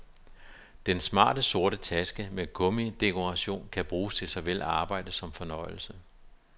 Den smarte sorte taske med gummidekoration kan bruges til såvel arbejde som fornøjelse.